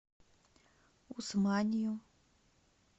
усманью